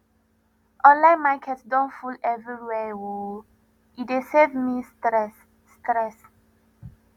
online market don full everywhere o e dey save me stress stress